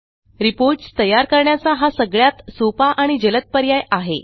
Reportsतयार करण्याचा हा सगळ्यात सोपा आणि जलद पर्याय आहे